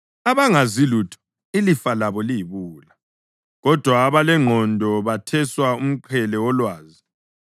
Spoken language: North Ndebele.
Abangazi lutho ilifa labo yibuwula, kodwa abalengqondo betheswa umqhele wolwazi.